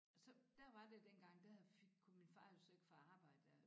Så der var det dengang der kunne min far jo så ikke få arbejde dér